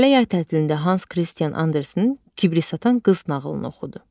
Lalə yay tətilində Hans Kristian Andersenin Kibrit satan qız nağılını oxudu.